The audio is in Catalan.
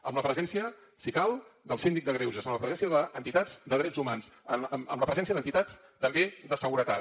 amb la presència si cal del síndic de greuges amb la presència d’entitats de drets humans amb la presència d’entitats també de seguretat